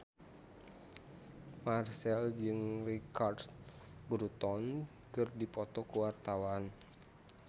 Marchell jeung Richard Burton keur dipoto ku wartawan